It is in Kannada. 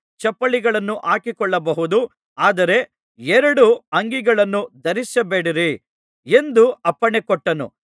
ಚಪ್ಪಲಿಗಳನ್ನು ಹಾಕಿಕೊಳ್ಳಬಹುದು ಆದರೆ ಎರಡು ಅಂಗಿಗಳನ್ನು ಧರಿಸಬೇಡಿರಿ ಎಂದು ಅಪ್ಪಣೆಕೊಟ್ಟನು